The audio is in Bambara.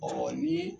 ni